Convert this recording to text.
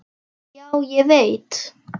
Já, ég veit